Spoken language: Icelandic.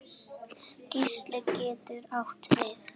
Geisli getur átt við